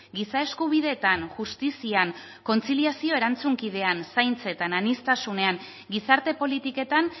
giza eskubideetan justizian kontziliazio erantzunkidean zaintzetan aniztasunean gizarte politiketan